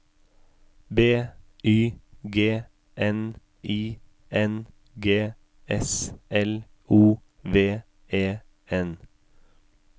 B Y G N I N G S L O V E N